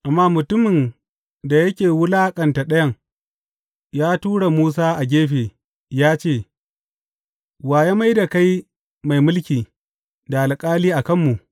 Amma mutumin da yake wulaƙanta ɗayan, ya tura Musa a gefe ya ce, Wa ya mai da kai mai mulki, da alƙali a kanmu?